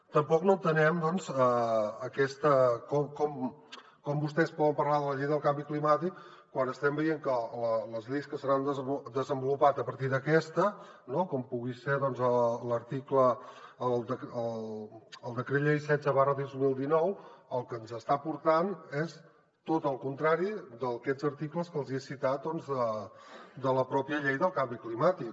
tampoc no entenem com vostès poden parlar de la llei del canvi climàtic quan estem veient que les lleis que s’han desenvolupat a partir d’aquesta com pugui ser el decret llei setze dos mil dinou el que ens està aportant és tot el contrari d’aquests articles que els he citat de la pròpia llei del canvi climàtic